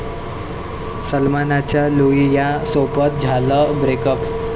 सलमानचं लुलियासोबत झालं ब्रेकअप